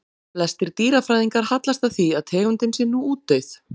Flestir dýrafræðingar hallast að því að tegundin sé nú útdauð.